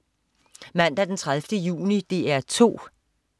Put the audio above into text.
Mandag den 30. juni - DR 2: